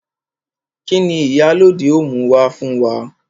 Kini Ìyálóde ó mú wá fún wa?